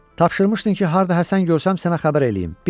Tapşırmışdın ki, harda Həsən görsəm sənə xəbər eləyim.